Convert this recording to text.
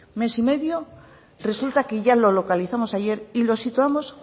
mes y medio resulta que ya lo localizamos ayer y lo situamos